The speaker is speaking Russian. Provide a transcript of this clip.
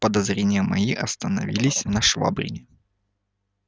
подозрения мои остановились на швабрине